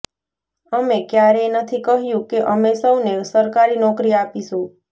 અમે ક્યારેય નથી કહ્યું કે અમે સૌને સરકારી નોકરી આપીશું